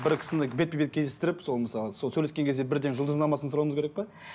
бір кісіні бетпе бет кездестіріп сол мысалы сол сөйлескен кезде бірден жұлдызнамасын сұрауымыз керек пе